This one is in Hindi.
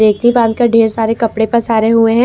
एक ही बांध कर ढेर सारे कपड़े पर पसारे हुए हैं।